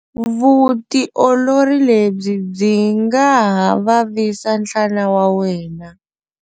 Vutiolori lebyi byi nga ha vavisa nhlana wa wena.